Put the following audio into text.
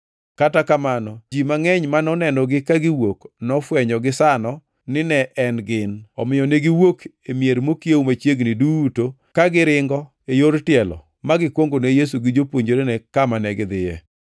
Kata kamano ji mangʼeny ma nonenogi kagiwuok nofwenyo gisano ni ne en gin, omiyo ne giwuok e mier mokiewo machiegni duto ka giringo e yor tielo magikwongo ne Yesu gi jopuonjrene kama negidhiye.